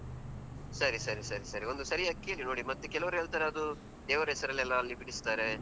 ಸರಿ ಸರಿ ಸರಿ ಸರಿ, ಒಂದು ಸರಿಯಾಗಿ ಕೇಳಿ ನೋಡಿ ಮತ್ತೆ ಕೆಲವರು ಹೇಳ್ತಾರೆ ಅದು ದೇವರ ಹೆಸರಲ್ಲೆಲ್ಲಾ ಅಲ್ಲಿ ಬಿಡಿಸ್ತಾರೆ.